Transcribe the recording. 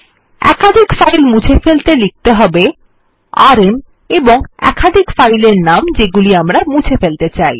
একাধিক ফাইল মুছে ফেলতে লিখতে হবে আরএম এবং একাধিক ফাইল এর নাম যেগুলি আমরা মুছে ফেলতে চাই